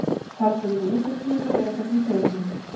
Talsverður útlitsmunur er á þessum tegundum.